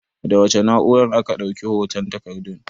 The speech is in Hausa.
Da wace na'urar aka ɗauki hoton takardun?